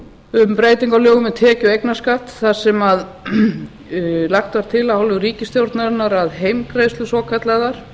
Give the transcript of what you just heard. breytingu á lögum um tekju og eignarskatt þar sem lagt var til af hálfu ríkisstjórnarinnar að heimgreiðslur svokallaðar